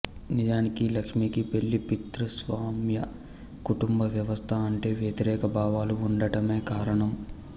నిజానికి లక్ష్మికి పెళ్ళి పితృస్వామ్య కుటుంబ వ్యవస్థ అంటే వ్యతిరేక భావాలు ఉండటమే కారణం